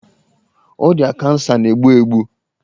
Ọrịa kansa na-egbu egbu.